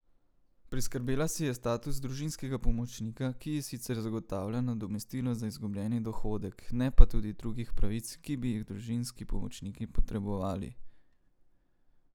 Priskrbela si je status družinskega pomočnika, ki ji sicer zagotavlja nadomestilo za izgubljeni dohodek, ne pa tudi drugih pravic, ki bi jih družinski pomočniki potrebovali.